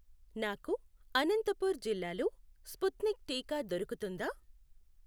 నాకు అనంతపూర్ జిల్లాలో స్పుత్నిక్ టీకా దొరుకుతుందా?